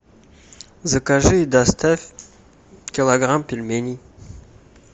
закажи и доставь килограмм пельменей